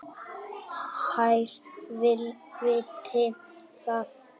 Þær viti það.